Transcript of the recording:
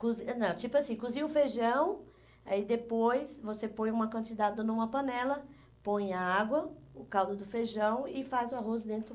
não, tipo assim, cozinha o feijão, aí depois você põe uma quantidade numa panela, põe a água, o caldo do feijão e faz o arroz dentro.